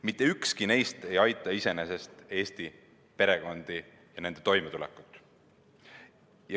Mitte ükski neist ei aita iseenesest Eesti perekondi ja nende toimetulekut.